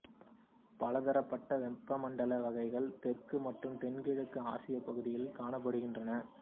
பலதரப்பட்ட வெப்பமண்டல வகைகள் தெற்கு மற்றும் தென்கிழக்கு ஆசியா பகுதிகளில் காணப்படுகின்றன